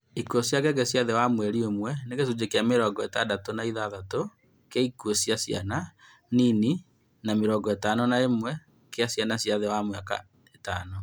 Ikuũ cia ngenge cia thi wa mweri ũmwe nĩ gĩcunjĩ kĩa mĩrongo ĩtandatũ na ithathatũ kĩa ikuũ cia ciana nini na mĩrongo ĩtano na ĩmwe kĩa ciana cia thĩ wa mĩaka ĩtano